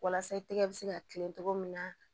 Walasa i tɛgɛ bɛ se ka kilen cogo min na